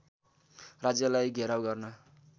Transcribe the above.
राज्यलाई घेराउ गर्न